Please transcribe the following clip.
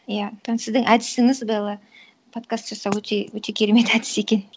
иә сіздің әдісіңіз белла подкаст жасау өте керемет әдіс екен